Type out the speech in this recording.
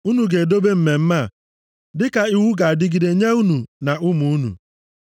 “Unu ga-edobe mmemme a dịka iwu ga-adịgide nye unu na ụmụ unu.